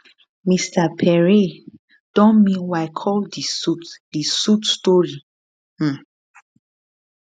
mr pierre don meanwhile call di suit di suit storystory um